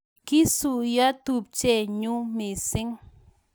Kisuiyo tupchenyuu missing